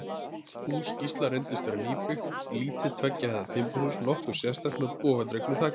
Hús Gísla reyndist vera nýbyggt, lítið tveggja hæða timburhús, nokkuð sérstætt, með bogadregnu þaki.